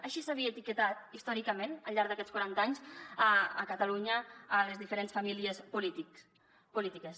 així s’havien etiquetat històricament al llarg d’aquests quaranta anys a catalunya les diferents famílies polítiques